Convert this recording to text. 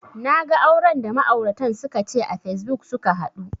Naga auran da ma'auratan suka ce a facebook suka haɗu